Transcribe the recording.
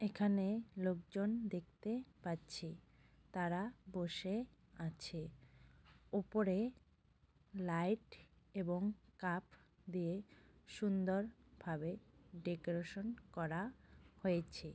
এখানে লোকজন দেখতে পাচ্ছি । তারা বসে আছে । ওপরে লাইট এবং কাপ দিয়ে সুন্দর ভাবে ডেকোরেশন করা হয়েছে।